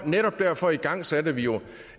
netop derfor igangsatte vi jo